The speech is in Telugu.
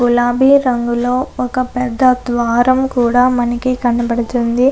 గులాబీ రంగులో మనకి ఒక పెద్ద ద్వారం కూడా కనబడుతుంది.